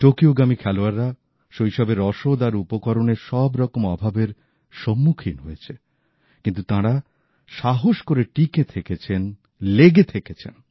টোকিওগামী খেলোয়াড়রা শৈশবে রসদ আর উপকরণের সব রকম অভাবের সম্মুখীন হয়েছে কিন্তু তাঁরা সাহস করে টিঁকে থেকেছেন লেগে থেকেছেন